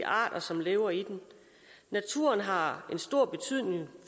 arter som lever i den naturen har stor betydning